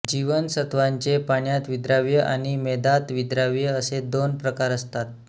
जीवनसत्त्वांचे पाण्यात विद्राव्य आणि मेदात विद्राव्य असे दोन प्रकार असतात